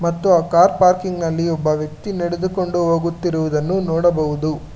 ಮತ್ತು ಆ car parking ನಲ್ಲಿ ಒಬ್ಬ ವ್ಯಕ್ತಿ ನಡೆದುಕೊಂಡು ಹೋಗುತ್ತಿರುವುದನ್ನು ನೋಡಬಹುದು.